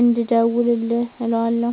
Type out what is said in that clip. እንድደዉልልህ እለዋለሁ